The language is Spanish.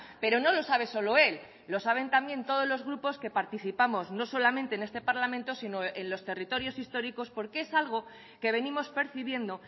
pero no lo sabe solo él lo saben también todos los grupos que participamos no solamente en este parlamento sino en los territorios históricos porque es algo que venimos percibiendo